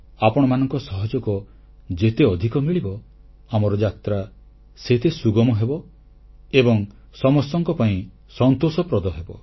ଆପଣମାନଙ୍କ ସହଯୋଗ ଯେତେ ଅଧିକ ମିଳିବ ଆମର ଯାତ୍ରା ସେତେ ସୁଗମ ହେବ ଏବଂ ସମସ୍ତଙ୍କ ପାଇଁ ସନ୍ତୋଷପ୍ରଦ ହେବ